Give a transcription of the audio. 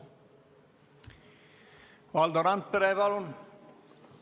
Valdo Randpere, palun!